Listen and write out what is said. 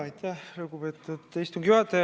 Aitäh, lugupeetud istungi juhataja!